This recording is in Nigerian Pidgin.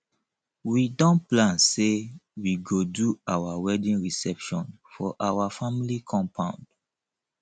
we don plan sey we go do our wedding reception for our family compound